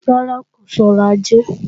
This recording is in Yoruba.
Rárá, kò sọrọ̀ ajé